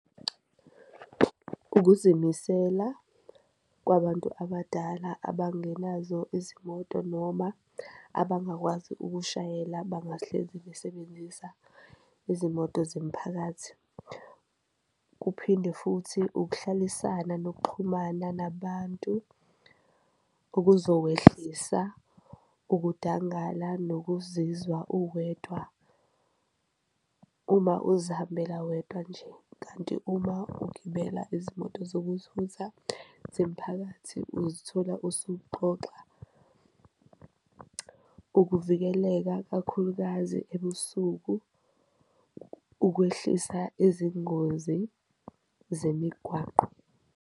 Ukuzimisela kwabantu abadala abangenazo izimoto noma abangakwazi ukushayela abangahlezi besebenzisa izimoto zemphakathi, kuphinde futhi ukuhlalisana nokuxhumana nabantu okuzowehlisa ukudangala nokuzizwa uwedwa uma uzihambela wedwa nje. Kanti uma ugibela izimoto zokuthutha zemiphakathi uzithola usuxoxa ukuvikeleka kakhulukazi ebusuku, ukwehlisa izingozi zemigwaqo.